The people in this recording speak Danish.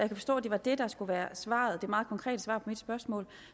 kan forstå at det var det der skulle være svaret det meget konkrete svar på mit spørgsmål